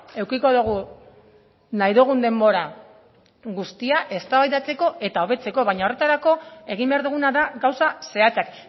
edukiko dugu nahi dugun denbora guztia eztabaidatzeko eta hobetzeko baina horretarako egin behar duguna da gauza zehatzak